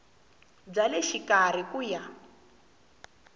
bya le xikarhi ku ya